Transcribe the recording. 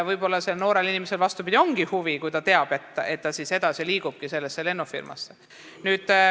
Võib-olla noorel inimesel ongi huvi selle lepingu vastu, kui ta teab, et ta liigubki edasi sellesse lennufirmasse.